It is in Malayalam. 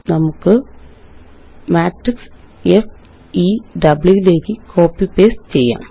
നമുക്ക് മാട്രിക്സ് FEWലേയ്ക്ക് കോപ്പി പേസ്റ്റ് ചെയ്യാം